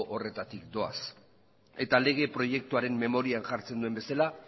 horretatik doaz eta lege proiektuaren memorian jartzen duen bezala